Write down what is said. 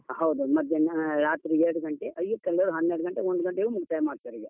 ಹೌದು ಹೌದು ಮಧ್ಯಾಹ್ನ ರಾತ್ರಿ ಎರಡು ಗಂಟೆ ಹವ್ಯಕ ಅಂದ್ರೆ ಹನ್ನೆರಡು ಗಂಟೆ ಒಂದು ಗಂಟೆಗೆ ಮುಕ್ತಾಯ ಮಾಡ್ತಾರೆ ಈಗ.